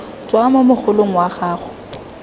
tswa mo mogolong wa gago